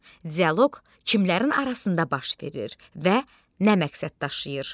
Dialoq kimlərin arasında baş verir və nə məqsəd daşıyır?